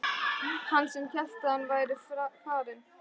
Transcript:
Hann sem hélt að hann væri farinn!